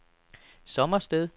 Sommersted